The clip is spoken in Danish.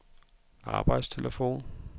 arbejdstelefon